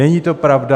Není to pravda.